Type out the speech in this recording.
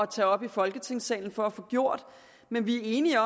tage op i folketingssalen for at få gjort men vi er enige